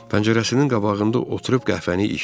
Pəncərəsinin qabağında oturub qəhvəni içdi.